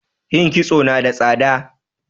yin kisto nada tsada